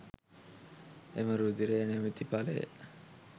එම රුධිරය නමැති ඵලය